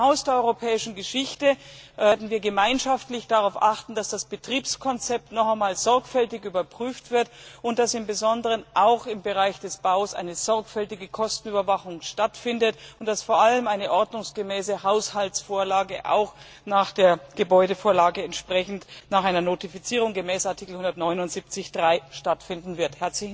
Beim Haus der Europäischen Geschichte werden wir gemeinschaftlich darauf achten, dass das Betriebskonzept noch einmal sorgfältig überprüft wird und dass im Besonderen auch im Bereich des Baus eine sorgfältige Kostenüberwachung stattfindet und dass vor allem eine ordnungsgemäße Haushaltsvorlage auch nach der Gebäudevorlage nach einer Notifizierung gemäß Artikel 179 Absatz 3 stattfinden wird.